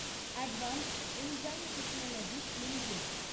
advanced enzyme technologies limited